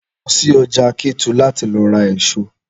Lọ sí ọjà Kétu láti lọ ra èso!